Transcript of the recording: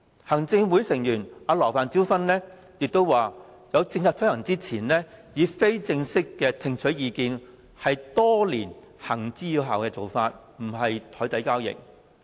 行政會議成員羅范椒芬亦表示，在政策推行之前，以非正式會面聽取意見，是多年來行之有效的做法，不涉及任何檯底交易。